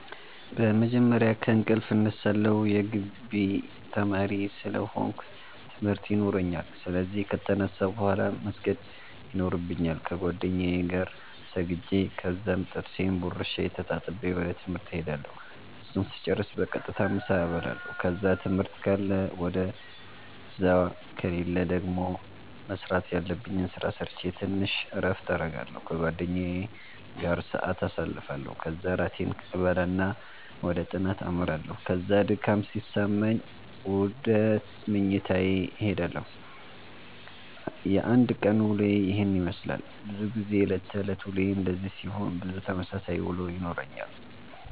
በመጀመርያ ከእንቅልፌ እነሳለሁ የጊቢ ተማሪ ስለ ሆነኩ ትምርት የኖራኛል ስለዚህ ከተነሳሁ ቡሃላ መስገድ የኖርብኛል ከጌደኛዬ ጋር ሰግጄ ከዛም ጥርሴን ቦርሼ ተጣጥቤ ወደ ትምህርት እሄዳለሁ እሱን ስጨርስ በቀጥታ ምሳ እበላለሁ ከዛ ትምህርት ካለ ውደዛ ከሌለ ደገሞ መስራተ ያለብኝን ስራ ሰረቼ ተንሽ እረፍት አረጋለሁ ከጓደኛዬ ጋር ሰአት ኣሳልፋለሁ ከዛ እራቴን እበላና ወደ ጥናተ አመራለሁ ከዛ ድካም ሲሰማኝ ውደ መኝታዬ እሄዳለሁ። የአንድ ቀን ዉሎዬ የሄን የመስላል። በዙ ጊዜ የእለት ተእለት ዉሎዬ እንደዚህ ሲሆን ብዙ ተመሳሳይ ዉሎ ይኖረኛል።